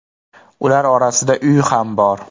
Ular orasida uy ham bor.